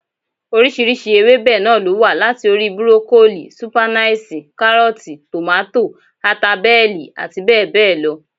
Oríṣiríṣi ewébẹ̀ náà ló wà, láti orí: burokolíì, sípáínáṣì, kárọ̀tì, tòmátò, ata bẹ́ẹ̀lì àti bẹ́ẹ̀ bẹ́ẹ̀ lọ